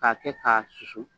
K'a kɛ k'a susu